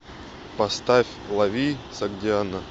поставь лови согдиана